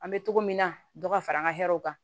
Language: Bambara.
An bɛ togo min na dɔ ka fara an ka hɛrɛw kan